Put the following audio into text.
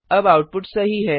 अब आउटपुट सही है